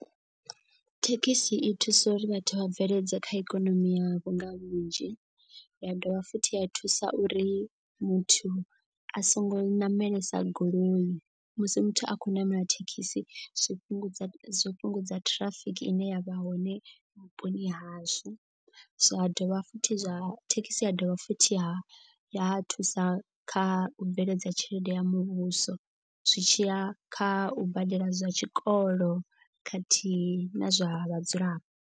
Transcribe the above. Thekhisi i thusa uri vhathu vha bveledze kha ikonomi yavho nga vhunzhi. Ya dovha futhi ya thusa uri muthu a songo ṋamelesa goloi musi muthu a khou ṋamela thekhisi zwi fhungudza zwo fhungudza ṱhirafiki ine ya vha hone vhuponi hashu. Zwa dovha futhi zwa thekhisi ya dovha futhi ya ya thusa kha u bveledza tshelede ya muvhuso. Zwi tshiya kha u badela zwa tshikolo khathihi na zwa vhadzulapo.